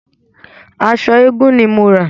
Aṣọ eégun ni mo rà.